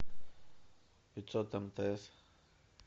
пятьсот мтс